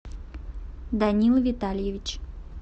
данил витальевич